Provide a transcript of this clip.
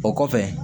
O kɔfɛ